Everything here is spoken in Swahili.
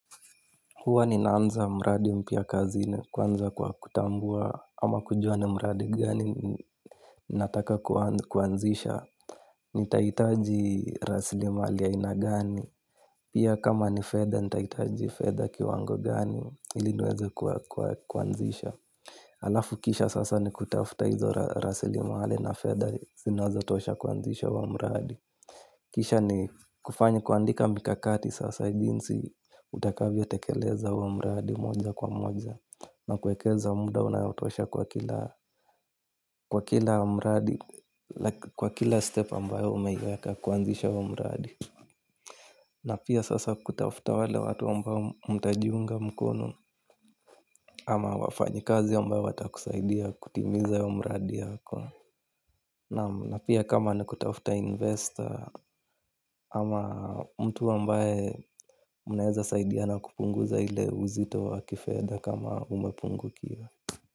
Huwa ni naanza mradi mpia kazi ni kwanza kwa kutambua ama kujua ni mradi gani ni nataka kuanzisha. Ni taitaji raslimali a ina gani. Pia kama ni fedha ni taitaji fedha kiwango gani iliniweze kuanzisha. Alafu kisha sasa ni kutafuta hizo raslimali na fedha zinazotosha kuanzisha wa mradi. Kisha ni kufanya kuandika mikakati sasa jinsi utakavyo tekeleza huo mradi moja kwa moja. Na kuekeza mda unayotosha kwa kila mradi. Kwa kila step ambayo umeiweka kuanzisha huo mradi na pia sasa kutafuta wale watu ambao mtajiunga mkono. Ama wafanyi kazi ambayo watakusaidia kutimiza wa mradi yako naam. Na pia kama nikutafuta investor ama mtu a mbaye mnaeza saidiana kupungu za ile uzito wa kifedha kama umepungu kiwa.